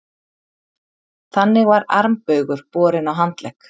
Þannig var armbaugur borinn á handlegg.